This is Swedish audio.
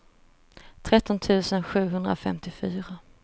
tretton tusen sjuhundrafemtiofyra